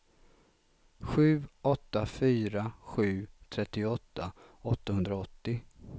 sju åtta fyra sju trettioåtta åttahundraåttio